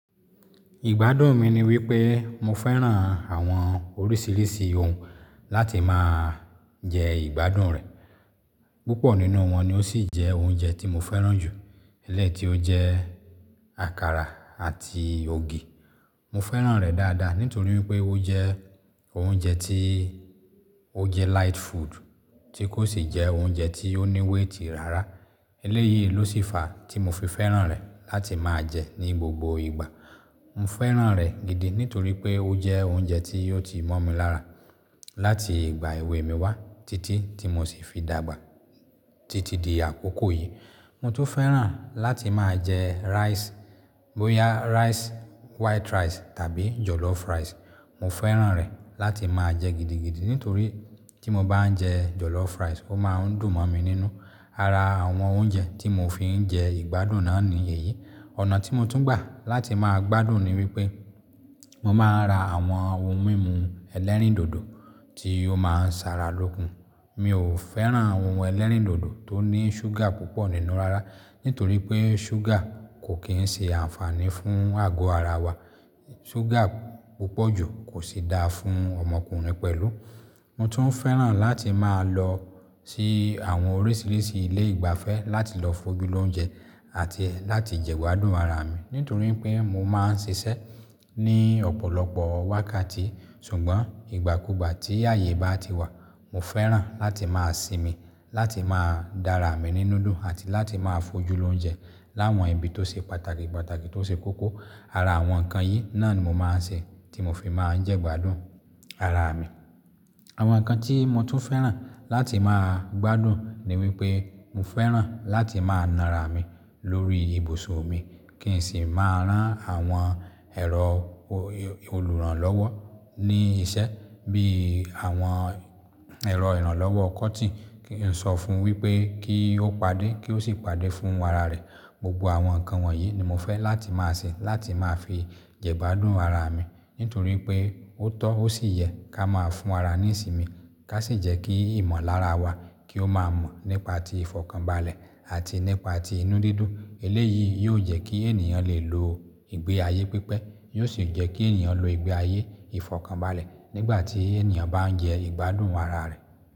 Ìgbádùn mi ni wípé mo fẹ́ràn àwọn oríṣiríṣi oun láti máà jẹ ìgbádùn rẹ̀. Púpọ̀ nínú wọn ni ó sì jẹ́ ounje tí mo fẹ́ràn jù, eléyi ti ó jẹ́ àkàrà àti ògì. Mo fẹ́ràn rẹ̀ dáadáa nítorí wípé ó jẹ́ ounje tí ó jẹ́ light food tí kò sì jẹ́ ounje tí ó ní weight rara. Eléyìí ló sì fa tí mo fi fẹ́ràn rẹ̀ láti máà jẹ ní gbogbo ìgbà. Mo fẹ́ràn rẹ̀ gidi nítorí pé ó jẹ́ ounje tí ó ti mọ́ mi lára láti ìgbà èwe mi wá títí tí mo sì fi dàgbà títí di àkókò yìí. Mo tún fẹ́ràn láti máà jẹ rice, bóyá rice white rice tàbí jollof rice. Mo fẹ́ràn rẹ̀ láti máà jẹ gidi gidi nítorí tí mo bá n jẹ jollof rice ó máa ń dùn mọ̀ mi nínú. Ara àwọn ounje tí mo fi ń jẹ ìgbádùn náà ni èyí. Ọ̀nà tí mo tún gbà láti máa gbádùn ni wípé mo máa ń ra àwọn ohun mímu ẹlẹ́rìndòdò tí ó máa ń ṣa ra lókun. Mi ò fẹ́ràn àwọn ohun ẹlẹ́rìndòdò tó ní ṣúgà púpọ̀ nínú rárá, nítorí pé ṣúgà kò kí ń ṣe ànfàní fún àgọ́ ara wa. Ṣúgà púpọ̀ jù kò sì da fún ọmọkùnrin pẹ̀lú. Mo tún fẹ́ràn láti máà lọ sí àwọn oríṣiríṣi ilé ìgbafẹ́ láti lọ fojú lóunje àti láti jẹ gbádùn ara mi nítorí pé mo máa ń ṣiṣẹ́ ní ọ̀pọ̀lọpọ̀ wákàtí. Ṣùgbọ́n ìgbàkúgbà tí ààyè bá ti wà, mo fẹ́ràn láti máà sinmi, láti máà dára mi ní núdù àti láti máa fojú lóunje láwọn ibi tó ṣe pàtàkì, pàtàkì tó ṣe kókó. Ara àwọn ǹkan yìí náà ni mo máa ń ṣe tí mo fi máa ń jẹ gbádùn ara mi. Àwọn ǹkan tí mo tún fẹ́ràn láti máa gbádùn ni wípé mo fẹ́ràn láti máà na ara mi lórí ibùsọ̀ mi kí n sì máà rán àwọn èrò olùrànlọ́wọ́ ní iṣẹ́ bí àwọn èrò ìrànlọ́wọ́ kọ́tìn kí n sọ fún wípé kí ó pàdé kí ó sì pàdé fún ara rẹ̀. Gbogbo àwọn ǹkan wọ̀nyí ni mo fẹ́ láti máa ṣe láti máà fi jẹ gbádùn ara mi nítorí pé ó tọ́ ó sì yẹ ká máa fún ara ní ìsinmi, ká sì jẹ́ kí ìmọ̀lára wa kí ó máa mọ̀ nípa ti ìfọ̀kànbalẹ̀ àti nípa ti inú dídùn. Eléyìí yóò jẹ́ kí ènìyàn lè lo ìgbé ayé pípẹ́, yóò sì jẹ́ kí ènìyàn lo ìgbé ayé ìfọ̀kànbalẹ̀ nígbà tí ènìyàn bá ń jẹ gbádùn ara rẹ̀.